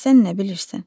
Sən nə bilirsən?